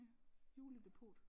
Ja juledepot